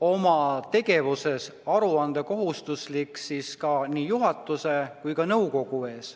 oma tegevuses aruandekohustuslik nii juhatuse kui ka nõukogu ees.